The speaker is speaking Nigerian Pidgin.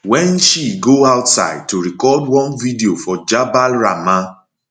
wen she go outside to record one video for jabal rahmah